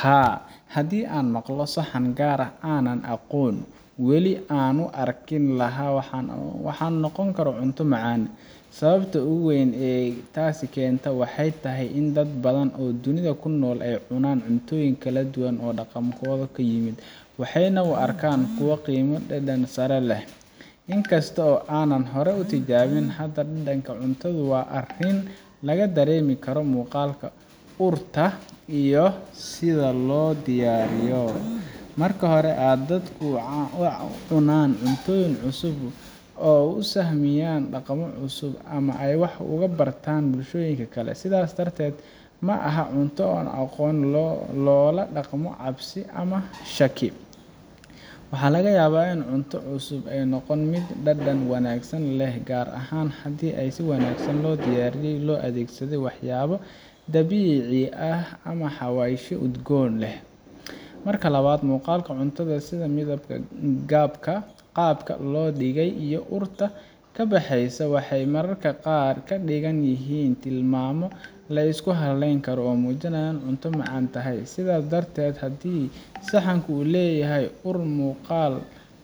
Haa, haddii aan maqlo saxan gaar ah oo aanan aqoonin, weli waan u arki lahaa inuu noqon karo cunto macaan leh. Sababta ugu weyn ee taas keenta waxay tahay in dad badan oo dunida ku nool ay cunaan cuntooyin kala duwan oo dhaqankooda ka yimid, waxayna u arkaan kuwo qiimo iyo dhadhan sare leh. Inkasta oo aanan hore u tijaabin, haddana dhadhanka cuntadu waa arrin laga dareemi karo muuqaalka, urta, iyo sida loo diyaariyay. Marka hore, dadku waxay cunaan cuntooyin cusub si ay u sahamiyaan dhaqamo cusub ama ay wax uga bartaan bulshooyinka kale. Sidaas darteed, ma aha in cunto aan la aqoonin loola dhaqmo cabsi ama shaki. Waxaa laga yaabaa in cunto cusub ay noqoto mid dhadhan wanaagsan leh, gaar ahaan haddii si wanaagsan loo diyaariyay oo loo adeegsaday waxyaabo dabiici ah ama xawaashyo udgoon leh. Marka labaad, muuqaalka cuntada, sida midabka, qaabka loo dhigay, iyo urta ka baxaysa, waxay mararka qaar ka dhigan yihiin tilmaamo la isku halayn karo oo muujinaya in cunto macaan tahay. Sidaa darteed, haddii saxanku leeyahay ur iyo muuqaal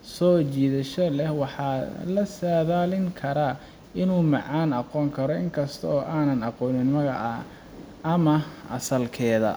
soo jiidasho leh, waxaa la saadaalin karaa inuu macaan noqon karo inkastoo aanan aqoonin magaca ama asalkeeda